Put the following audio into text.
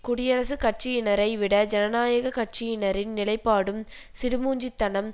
குடியரசுக் கட்சியினரை விட ஜனநாயக கட்சியனரின் நிலைப்பாடும் சிடுமூஞ்சித்தனம்